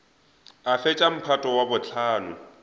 a fetša mphato wa bohlano